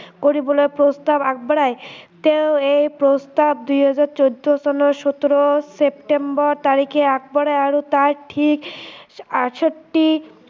কৰিবলে প্ৰস্তাৱ আগবঢ়ায় তেওঁ এই প্ৰস্তাৱ দুই হাজাৰ চৈধ্য চনৰ সোতৰ ছেপ্তেম্বৰ তাৰিখে আগবঢ়ায় আৰু তাৰ ঠিক আঠষষ্ঠি